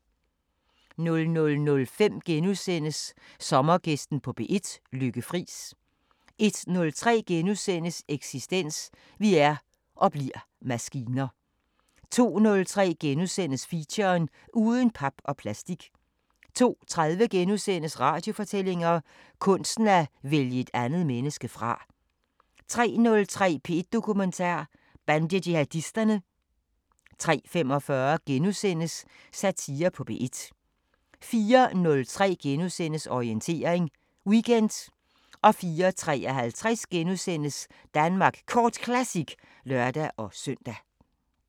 00:05: Sommergæsten på P1: Lykke Friis * 01:03: Eksistens: Vi er – og bliver – maskiner * 02:03: Feature: Uden pap og plastik * 02:30: Radiofortællinger: Kunsten at vælge et andet menneske fra * 03:03: P1 Dokumentar: Bandejihadisterne 03:45: Satire på P1 * 04:03: Orientering Weekend * 04:53: Danmark Kort Classic *(lør-søn)